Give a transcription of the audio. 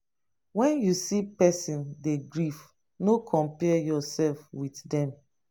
when you see person dey grief no compare yourself with dem